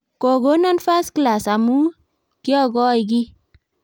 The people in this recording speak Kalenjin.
Kokonon First Class amu kiokoi kiy.